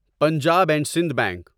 Punjab and Sindh bank